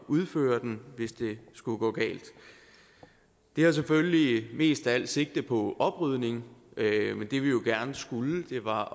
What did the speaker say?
udføre den hvis det skulle gå galt det har selvfølgelig mest af alt sigte på oprydning men det vi jo gerne skulle var